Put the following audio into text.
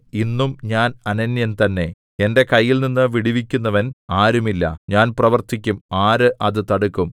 ഇന്നും ഞാൻ അനന്യൻ തന്നെ എന്റെ കൈയിൽനിന്നു വിടുവിക്കുന്നവൻ ആരുമില്ല ഞാൻ പ്രവർത്തിക്കും ആര് അത് തടുക്കും